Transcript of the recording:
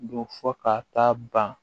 Don fo ka taa ban